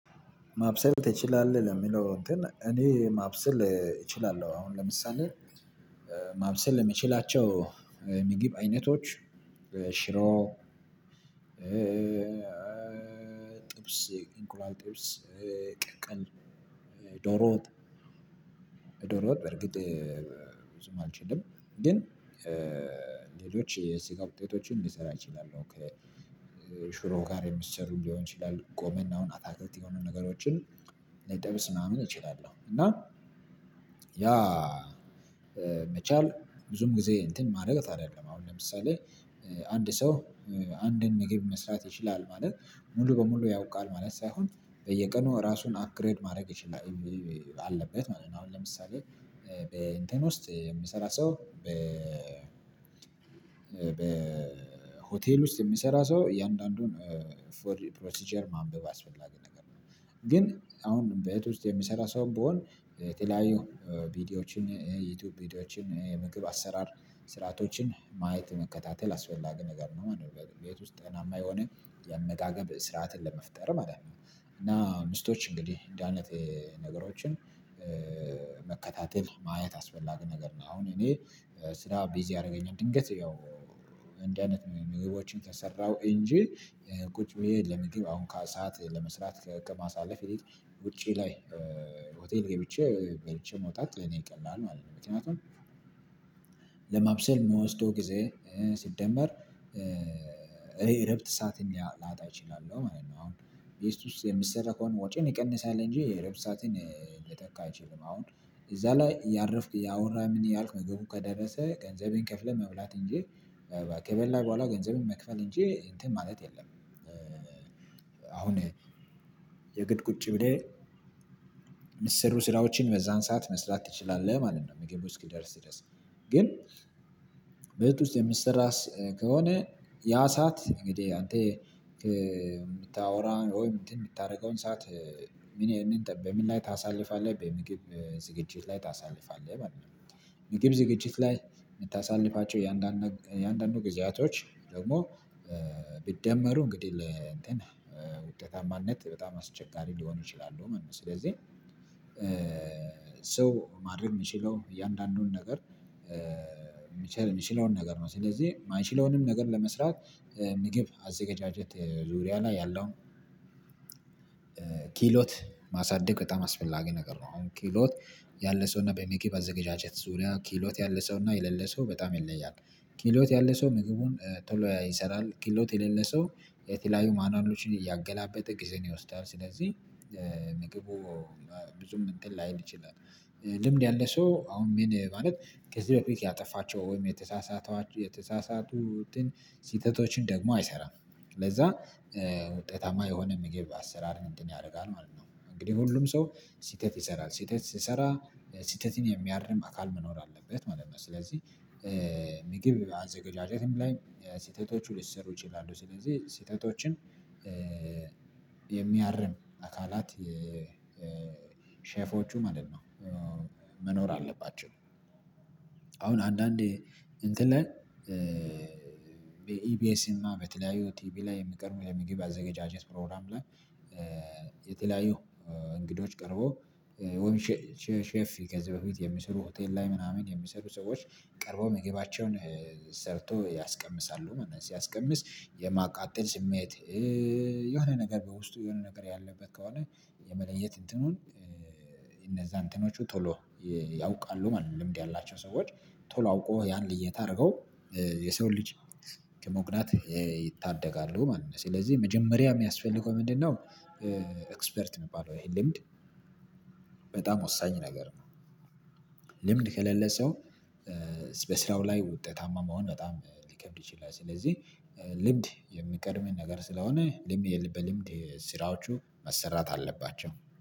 ማብሰል ትችላለህ ለሚለው እንትን እኔ ማብሰል እችላለሁ። አሁን ለምሳሌ ማብሰል የሚችላቸው የምግብ አይነቶች ሽሮ ጥብስ ጥብስ እንቁላል ጥብስ ቅቅል ዶሮ ዶሮወጥ። በእርግጥ ብዙም አልችልም። ግን ሌሎች የስጋ ውጤቶችን ልሰራ እችላለሁ ከሽሮ ጋር የሚሰሩ ሊሆን ይችላል ጎመን አሁን አታክልት የሆኑ ነገሮችን ልጠብስ ምናምን እችላለሁ። እና ያ መቻል ብዙም ጊዜ እንትን ማድረግ አይደለም። አሁን ለምሳሌ አንድ ሰው አንድን መግብ መስራት ይችላል ማለት ሙሉ በሙሉ ያውቃል ማለት ሳይሆን በየቀኑ ራሱን ፕግሬድ ማድረግ ይችላል የሚል አለበት ማለት ነው። አሁን ለምሳሌ በእንትን ውስጥ የሚሰራ ሰው በ በ ሆቴል ውስጥ የሚሰራ ሰው እያንዳንዱን ፕሮሲጀር ማንበብ አስፈላጊ ነገር ነው። ግን አሁን ቤት ውስጥ የሚሰራ ሰው ብሆን የተለያዩ ቪዲዮዎችን የዩቲዩብ ቪዲዮዎችን የምግብ አሰራር ስርዓቶችን ማየት መከታተል አስፈላጊ ነገር ነው። በቤት ውስጥ ጤናማ የሆነ የአመጋገብ ስርዓትን ለመፍጠር ማለት ነው። እና ሚስቶች እንግዲህ እንደህ አይነት ነገሮችን መከታተል ማየት አስፈላጊ ነገር ነው። አሁን እኔ ስራ ቢዝ ያደረገኝ ድንገት ያው እንዲህ አይነት ምግቦችን ከሰራው እንጂ ቁጭ ብዬ ለምግብ አሁን ከሰአት ለመስራት ከማሳለፍ ውጪ ላይ ሆቴል ገብቼ በልቼ መውጣት ለእኔ ይቀላል ማለት ነው። ምክንያቱም ለማብሰል ምወስደው ጊዜ ሲደመር እረፍት ሰዓትም ላጣ እችላለሁ ማለት ነው። አሁን ቤት ውስጥ የሚሰራ ከሆነ ወጪን ይቀንሳል እንጂ እረፍት ሰዓትን ሊተካ አይችልም። አሁን እዛ ላይ እያረፍክ እያወራህ ምን እያልክ ምግቡ ከደረሰ ገንዘብህን ከፍለህ መብላት እንጂ ከበላህ በኋላ ገንዘብን መክፈል እንጂ እንትን ማለት የለም። አሁን የግድ ቁጭ ብለህ ሚሰሩ ስራዎችን በዛን ሰዓት መስራት ትችላለህ ማለት ነው። ምግቡ እስኪደርስ ድረስ ግን ቤት ውስጥ የሚሰራስ ከሆነ ያ ሰዓት እንግዲህ አንተ የምታወራ ወይ የምታደርገውን ሰዓት ምን ይሄንን በምን ላይ ታሳልፋለህ በምግብ ዝግጅት ላይ ታሳልፋለህ ማለት ነው። ምግብ ዝግጅት ላይ የምታሳልፋቸው የአንዳንዱ እያንዳንዱ ጊዜያቶች ደግሞ ቢደመሩ እንግዲህ ለእንትን ውጤታማነት በጣም አስቸጋሪ ሊሆኑ ይችላሉ ማለት ነው። ስለዚህ ሰው ማድረግ የምችለው እያንዳንዱን ነገር የምችለውን ነገር ነው ስለዚህ የማይችለውንም ነገር ለመስራት ምግብ አዘገጃጀት ዙሪያ ላይ ያለውን ክህሎት ማሳደግ በጣም አስፈላጊ ነገር ነው። ክህሎት ያለ ሰው እና በመግብ አዘጋጃጀት ዙሪያ ክህሎት ያለ ሰውና የሌለ ሰው በጣም ይለያል። ክህሎት ያለ ሰው ምግቡን ቶሎ ይሰራል ክህሎት የሌለ ሰው የተለያዩ ማኑዋሎችን እያገላበጠ ጊዜን ይወስዳል። ስለዚህ ምግቡ ብዙም እንትን ላይል ይችላል። ልምድ ያለ ሰው አሁን ምን ማለት ከዚህ በፊት ያጠፋቸው ወይም የተሳሳቷ የተሳሳቱትን ስህተቶችን ደግሞ አይሰራም። ለዛ ውጤታማ የሆነ ምግብ አሰራር እንትን ያደርጋል ማለት ነው። እንግዲህ ሁሉም ሰው ስህተት ይሰራል ስህተት ሲሰራ ስህተትን የሚያርም አካል መኖር አለበት ማለት ነው። ስለዚህ ምግብ አዘጋጃጀትም ላይ ስህተቶቹ ሊሰሩ ይችላሉ ስለዚህ ስህተቶችን የሚያርም አካላት የሼፎቹ ማለት ነው መኖር አለባቸው። አሁን አንዳንዴ እንትን ላይ በኢቢኤስ እና በተለያዩ ቲቢ ላይ የምቀርበው የምግብ አዘገጃጀት ፕሮግራም ላይ የተለያዩ እንግዶች ቀርበው ወይም ሼፍ ከዚህ በፊት የሚሰሩ ሆቴል ላይ ምናምን የሚሰሩ ሰዎች ቀርበው ምግባቸውን ሰርቶ ያስቀምሳሉ ማለት ነው። ሲያስቀምስ የማቃጠል ስሜት የሆነ ነገር በውስጡ የሆነ ነገር ያለበት ከሆነ የመለየት እንትኑን እነዛ እንትኖቹ ቶሎ ያውቃሉ ማለት ነው። ልምድ ያላቸው ሰዎች ቶሎ አውቆ ያን ልየት አድርገው የሰው ልጅ ከመጉዳት ይታደጋሉ ማለት ነው። ስለዚህ መጀመሪያ የሚያስፈልገው ምንድነው? ኤክስፐርት የሚባለው ይሄን ልምድ በጣም ወሳኝ ነገር ነው። ልምድ ከሌለ ሰው በስራው ላይ ውጤታማ መሆን በጣም ሊከብድ ይችላል። ስለዚህ ልምድ የሚቀድም ነገር ስለሆነ ልምድ በልምድ ስራዎቹ መሰራት አለባቸው